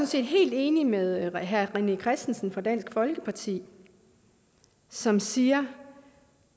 set helt enig med herre rené christensen fra dansk folkeparti som siger